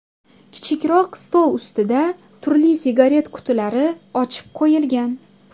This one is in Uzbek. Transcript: Kichikroq stol ustida turli sigaret qutilari ochib qo‘yilgan.